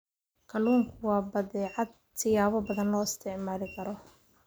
Kalluunku waa badeecad siyaabo badan loo isticmaali karo.